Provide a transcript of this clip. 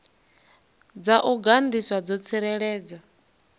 dza u gandiswa dzo tsireledzwa